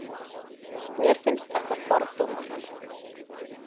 Mér finnst þetta fordómar.